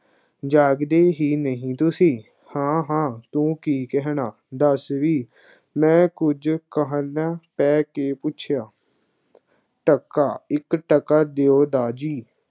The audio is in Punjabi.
ਜਾਗਦੇ ਹੀ ਨਹੀਂ ਤੁਸੀਂ, ਹਾਂ ਹਾਂ ਤੂੰ ਕੀ ਕਹਿਣਾ, ਦੱਸ ਬਈ, ਮੈਂ ਕੁੱਝ ਕਾਹਲਾ ਪੈ ਕੇ ਪੁੱਛਿਆ, ਟਕਾ, ਇੱਕ ਟਕਾ ਦਿਓ ਦਾਰ ਜੀ,